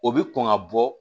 O bi kɔn ka bɔ